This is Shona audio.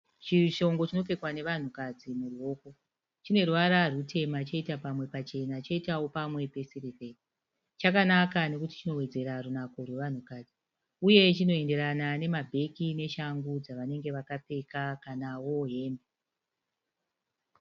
Chishongo chinopfekwa nevanhukadzi muruoko. Chine ruvara rutema choita pamwe pachena choitawo pamwe pesirivheri. Chakanaka nekuti chinowedzera runako rwevanhukadzi uye chinoenderana nemabheki neshangu dzavanenge vakapfeka kanawo hembe.